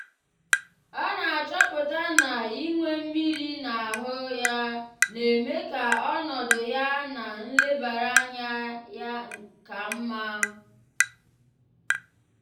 ọ na-achọpụta na inwe mmiri na ahụ ya na-eme ka ọnọdụ ya na nlebara anya ya ka mma.